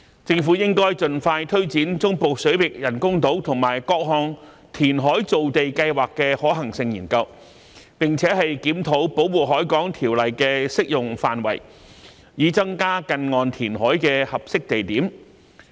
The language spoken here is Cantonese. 政府應盡快推展中部水域人工島和各項填海造地計劃的可行性研究，並檢討《保護海港條例》的適用範圍，以增加近岸填海的合適地點。